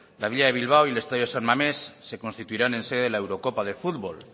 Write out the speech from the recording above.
la villa de bilbao y el estadio de san mamés se constituirán en sede de la eurocopa de fútbol